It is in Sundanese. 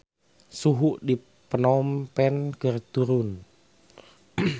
Suhu di Phnom Penh keur turun